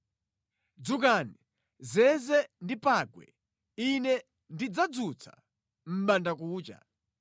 Dzukani, zeze ndi pangwe! Ine ndidzadzutsa mʼbandakucha.